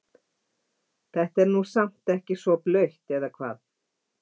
Þetta er nú samt ekki svo blautt eða hvað?